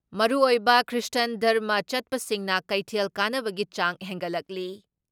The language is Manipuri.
ꯃꯔꯨꯑꯣꯏꯕ ꯈ꯭ꯔꯤꯁꯇꯥꯟ ꯙꯔꯃ ꯆꯠꯄꯁꯤꯡꯅ ꯀꯩꯊꯦꯜ ꯀꯥꯅꯕꯒꯤ ꯆꯥꯡ ꯍꯦꯟꯒꯠꯂꯛꯂꯤ ꯫